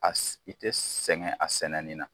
A si i tɛ sɛgɛn a sɛnɛ nin na.